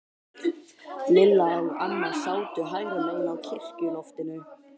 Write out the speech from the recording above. Lilla og amma sátu hægra megin á kirkjuloftinu.